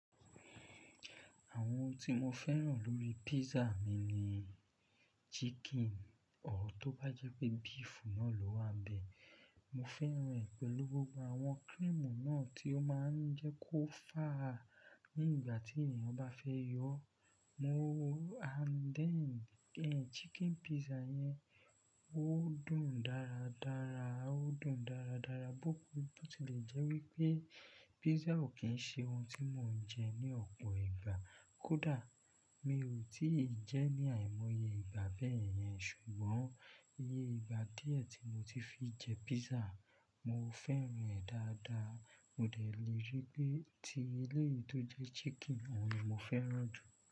Àwọn ohun tí mo fẹ́ràn lórí pizza mi ni chicken, ọ̀ tó bá jẹ́ pé beef náà ló wà bẹ́ẹ̀. Mo fẹ́ràn ẹ̀ pẹ̀lú gbogbo àwọn creamu náà tí ó máa ń jẹ́ kó fàá ní ìgbà tí ènìyàn bá fẹ́ yọ ọ́. Mo and then chicken pizza yẹn, ó dùn dára dára, ó dùn dára dára bó tilẹ̀ jẹ́ wípé pizza ò kí ń ṣe ohun tí mò ń jẹ ní ọ̀pọ̀ ìgbà. Kódà mi ò tí ì jẹ́ ní àìmọye ìgbà bẹ́ẹ̀ yẹn ṣùgbọ́n iye ìgbà díẹ̀ tí mo ti fi jẹ pizza, mo fẹ́ràn ẹ̀ dáadáa. Ó dẹ̀ le rí pé ti ilé tó jẹ́ chicken, òun ni mo fẹ́ràn jù.